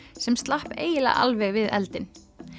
sem slapp eiginlega alveg við eldinn